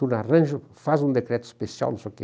Tu arranja, faz um decreto especial, não sei o quê.